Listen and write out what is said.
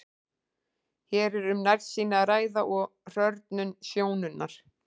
Hér er um nærsýni að ræða og hrörnun sjónunnar.